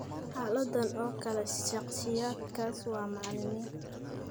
Xaaladdan oo kale, shakhsiyaadkaas waa macalimiin.